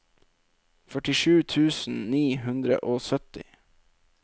førtisju tusen ni hundre og sytti